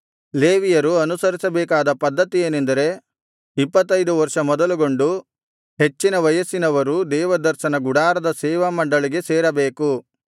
ಲೇವಿಯರು ಅನುಸರಿಸಬೇಕಾದ ಪದ್ಧತಿ ಏನೆಂದರೆ ಇಪ್ಪತ್ತೈದು ವರ್ಷ ಮೊದಲುಗೊಂಡು ಹೆಚ್ಚಿನ ವಯಸ್ಸಿನವರು ದೇವದರ್ಶನ ಗುಡಾರದ ಸೇವಮಂಡಳಿಗೆ ಸೇರಬೇಕು